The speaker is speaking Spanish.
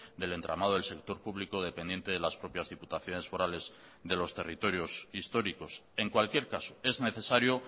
del entramado del sector público dependiente de las propias diputaciones forales de los territorios históricos en cualquier caso es necesario